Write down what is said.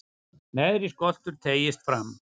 neðri skoltur teygist fram